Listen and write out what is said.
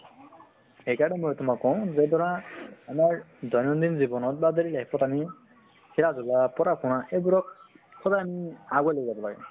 হেই কাৰণে মই তোমাক কওঁ যে ধৰা আমাৰ দৈনন্দিন জীৱনত বা daily life ত আমি খেলা ধুলা পঢ়া শুনা এইবোৰক সদায় আমি আগুৱাই লৈ যাম লাগে